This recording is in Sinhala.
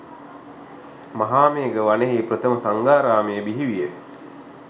මහාමේඝ වනයෙහි ප්‍රථම සංඝාරාමය බිහි විය.